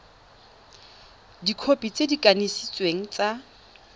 dikhopi tse di kanisitsweng tsa